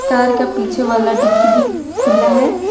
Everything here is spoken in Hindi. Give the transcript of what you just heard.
कार का पीछे वाला डिग्गी भी खुला है।